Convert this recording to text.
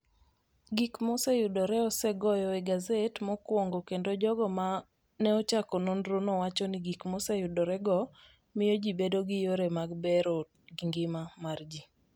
Gik ma oseyudorego osegoyo e gaset mokwongo kendo jogo ma ne ochako nonrono wacho ni gik ma oseyudorego miyo ji bedo gi yore mag bero ngima mar ji.